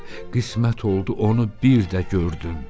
Qismət oldu onu bir də gördüm.